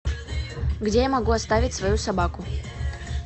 где я могу оставить свою собаку